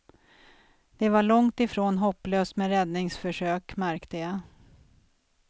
Det var långt ifrån hopplöst med räddningsförsök, märkte jag.